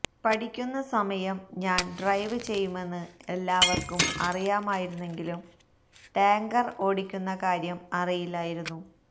പഠിക്കുന്ന സമയം ഞാൻ ഡ്രൈവ് ചെയ്യുമെന്ന് എല്ലാവർക്കും അറിയാമായിരുന്നെങ്കിലും ടാങ്കർ ഓടിക്കുന്ന കാര്യം അറിയില്ലായിരുന്നു